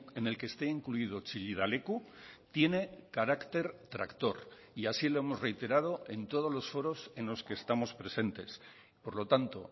en el que está incluido chillida leku tiene carácter tractor y así lo hemos reiterado en todos los foros en los que estamos presentes por lo tanto